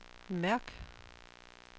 mærk